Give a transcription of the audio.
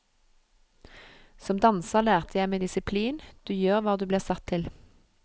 Som danser lærte jeg meg disiplin, du gjør hva du blir satt til.